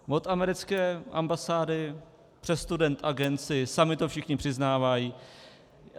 Od americké ambasády přes Student Agency, sami to všichni přiznávají.